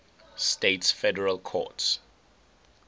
states federal courts